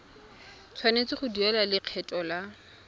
tshwanetse go duela lekgetho la